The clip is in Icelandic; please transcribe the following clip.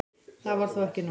Það var þó ekki nóg.